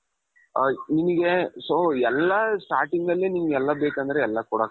ಅ ನಿಮ್ಗೆ so ಎಲ್ಲಾ starting ಅಲ್ಲಿ ನಿಮ್ಗೆಲ್ಲಾ ಬೇಕಂದ್ರೆ ಎಲ್ಲಾ,